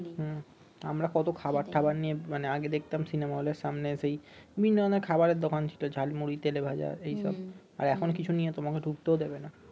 হম আমরা কত খাবার ঠাবার নিয়ে মানে আগে দেখতাম সিনেমা হলের সামনে সেই বিভিন্ন ধরনের খাবারের দোকান ছিল ঝাল মুড়ি তেলে ভাজা এই সব আর এখন কিছু নিয়ে তোমাকে ঢুকতেও দিবে না